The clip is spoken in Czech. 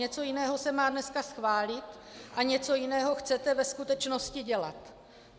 Něco jiného se má dneska schválit a něco jiného chcete ve skutečnosti dělat.